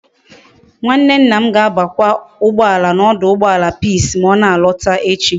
Nwanne nna ga abakwa ugboala na oduugboala peace ma ona alota echi